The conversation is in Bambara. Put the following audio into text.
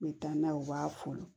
N bɛ taa n'a ye u b'a folon